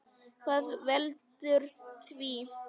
Hvað veldur því?